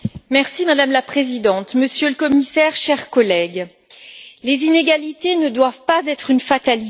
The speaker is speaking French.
Madame la Présidente, Monsieur le Commissaire, chers collègues, les inégalités ne doivent pas être une fatalité.